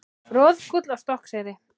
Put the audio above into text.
Roðgúll á Stokkseyri.